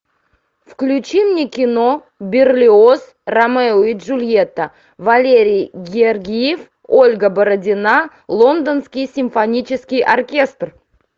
включи мне кино берлиоз ромео и джульетта валерий гергиев ольга бородина лондонский симфонический оркестр